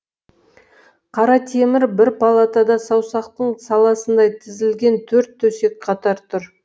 қаратемір бір палатада саусақтың саласындай тізілген төрт төсек қатар тұр